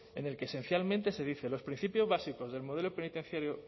en el que esencialmente se dice los principios básicos del modelo penitenciario